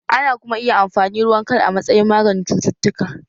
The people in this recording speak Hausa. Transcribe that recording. Ana kuma iya amfani ruwan kal a matsayin maganin cututtuka